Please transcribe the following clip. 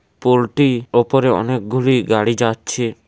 Poultry ওপরে অনেকগুলি গাড়ি যাচ্ছে।